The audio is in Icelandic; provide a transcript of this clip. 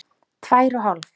Tvær og hálf.